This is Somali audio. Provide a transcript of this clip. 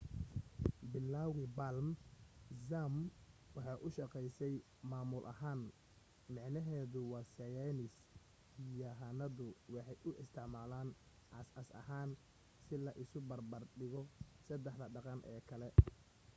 bilowgi palm zmapp waxay u shaqeysay maamul ahaan micnaheeduna waa saynis yahanadu waxay u isticmaalaan aas asas ahaan si la isu bar bar dhigo sadexda dhaqan ee kale